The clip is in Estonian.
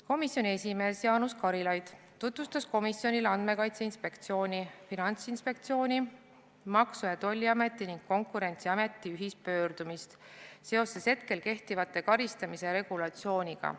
Komisjoni esimees Jaanus Karilaid tutvustas komisjonile Andmekaitse Inspektsiooni, Finantsinspektsiooni, Maksu- ja Tolliameti ning Konkurentsiameti ühispöördumist seoses hetkel kehtiva karistamise regulatsiooniga.